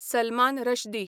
Salman Rushdie